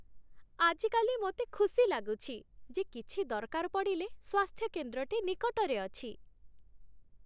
ଆଜିକାଲି ମୋତେ ଖୁସି ଲାଗୁଛି ଯେ, କିଛି ଦରକାର ପଡ଼ିଲେ, ସ୍ୱାସ୍ଥ୍ୟକେନ୍ଦ୍ରଟି ନିକଟରେ ଅଛି।